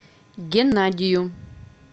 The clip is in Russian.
геннадию